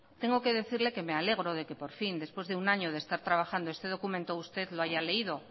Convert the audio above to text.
tengo que decirle que me alegro que después de un año de estar trabajando este documento usted lo haya leído